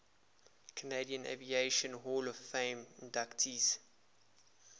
canadian aviation hall of fame inductees